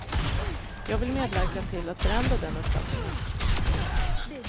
Jag vill medverka till att förändra den uppfattningen.